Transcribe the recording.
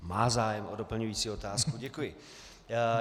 Má zájem o doplňující otázku, děkuji.